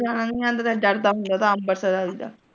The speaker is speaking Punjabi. ਚਲਾਉਣਾ ਵੀ ਨਹੀਂ ਆਉਂਦਾ ਤੇ ਡਰਦਾ ਹੁੰਦਾ ਅੰਬਰਸਰ ਵੱਲ ਦਾ।